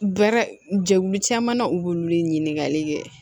Bɛɛrɛ jɛkulu caman na u bɛ wuli ɲininkali kɛ